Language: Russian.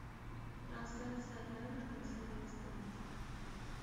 трансляция эвертон с лестером